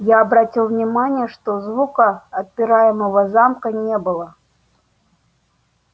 я обратил внимание что звука отпираемого замка не было